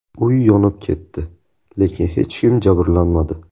Uy yonib ketdi, lekin hech kim jabrlanmadi.